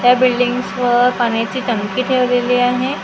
त्या बिल्डिंग्सवर पाण्याची टंकी ठेवलेली आहे--